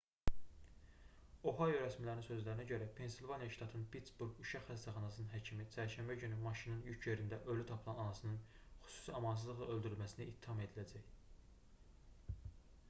ohayo rəsmilərinin sözlərinə görə pensilvaniya ştatının pittsburq uşaq xəstəxanasının həkimi çərşənbə günü maşınının yük yerində ölü tapılan anasının xüsusi amansızlıqla öldürülməsində ittiham ediləcək